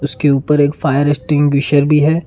के ऊपर एक फायर एक्सटिंग्विशर भी है।